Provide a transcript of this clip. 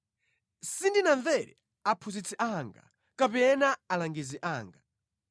Sindinamvere aphunzitsi anga kapena alangizi anga.